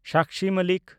Sakshi Malik